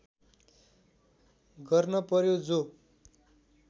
गर्न पर्‍यो जो